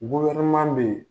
bɛ yen